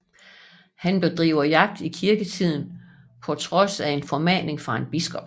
Han bedriver jagt i kirketiden på trods af en formaning fra en biskop